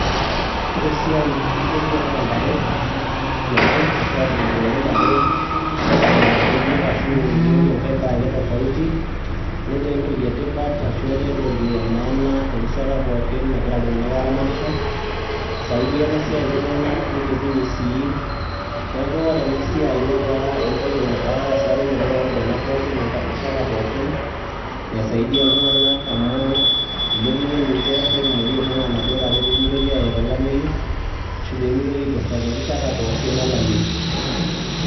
The work of feeding sheeps at home or cutting grass for them or any different food has become something of importance maana anytime people are keeping livestock it has help people and lift them so this work has something that has help so many people at all times by lifting them so that the sheep cannot die during drought or being in problems at all times of drought